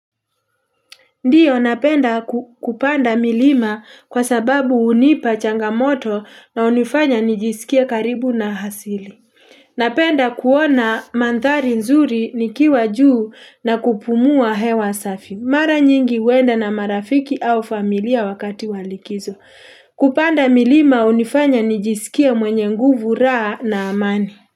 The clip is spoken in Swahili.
Ndiyo napenda kupanda milima kwa sababu hunipa changamoto na unifanya nijisikia karibu na hasili. Napenda kuona mantari nzuri nikiwa juu na kupumua hewa safi. Mara nyingi wenda na marafiki au familia wakati walikizo. Kupanda milima unifanya nijisikia mwenye nguvu raa na amani.